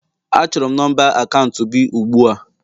Achọrọ m nọmba akaụntụ gi ugbu a!